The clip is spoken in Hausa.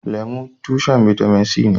Lemu tushen bitamin c ne.